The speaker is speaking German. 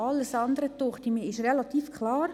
Alles andere scheint mir relativ klar.